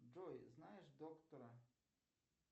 джой знаешь доктора